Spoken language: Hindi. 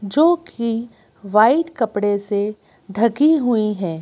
जो कि वाइट कपड़े से ढकी हुई है।